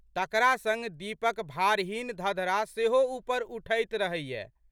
तकरा संग दीप'क भारहीन धधरा सेहो ऊपर उठैत रहैए।